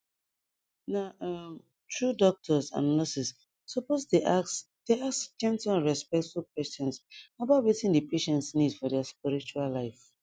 na um true doctors and nurses suppose dey ask dey ask gentle and respectful questions about wetin the patient need for their spiritual life